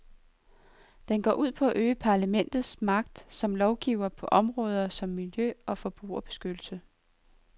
Den går ud på at øge parlamentets magt som lovgiver på områder som miljø og forbrugerbeskyttelse.